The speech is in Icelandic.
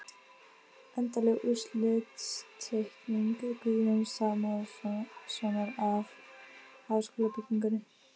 Endanleg útlitsteikning Guðjóns Samúelssonar af háskólabyggingunni.